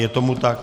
Je tomu tak.